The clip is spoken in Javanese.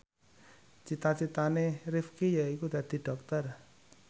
cita citane Rifqi yaiku dadi dokter